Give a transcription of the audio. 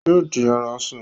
Yóò di aráṣọ